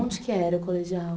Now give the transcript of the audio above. Onde que era o colegial?